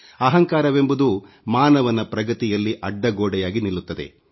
ಅಹಂಕಾರವೆಂಬುದು ಮಾನವನ ಪ್ರಗತಿಯಲ್ಲಿ ಅಡ್ಡಗೋಡೆಯಾಗಿ ನಿಲ್ಲುತ್ತದೆ